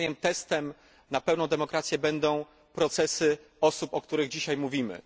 Moim zdaniem testem na pełną demokrację będą procesy osób, o których dzisiaj mówimy.